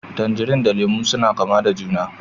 Tangarine da Lemu suna kama da juna